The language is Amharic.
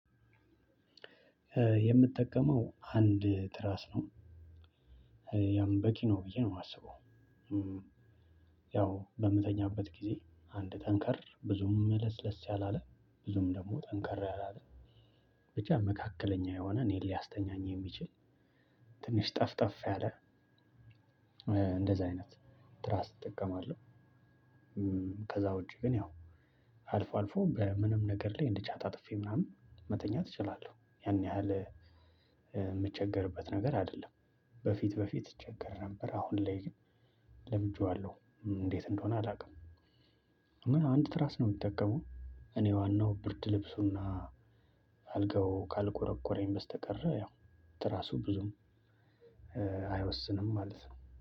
የምጠቀመው አንድ ትራስ ነው ያም በቂ ነው ብዬ ነው የማስበው። ያው በምተኛበት ጊዜ አንድ ጠንከር ብዙም ለስለስ ያላለ ብዙም ደግሞ ጠንከር ያላለ በቻ መካከለኛ የሆነ እኔን ሊያስተኛኝ የሚችል ጠፍ ጠፍ ያለ እንደዛ አይነት ትራስ እጠቀማለሁ። ከዛ ውጪ ግን ያው አልፎ አልፎ በምንም ነገር ላይ እንድቻ ጣጥፌ ምናምን መተኛት እችላለሁ ያን ያህል የምቸገርበት ነገር አይደለም። በፊት በፊት እቸገር ነበር አሁን ላይ ለምጄዋለሁ እንዴት እንደሆነ አላውቅም። አንድ ትራስ ነው የምጠቀመው እኔ ዋናው ብርድ ልብሱ እና አልጋው ካልቆረቆረኝ በስተቀር ያው ትራሱ ብዙም አይወስንም ማለት ነው።